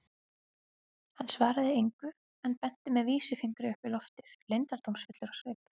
Hann svaraði engu en benti með vísifingri upp í loftið, leyndardómsfullur á svip.